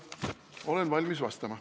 Olen valmis vastama.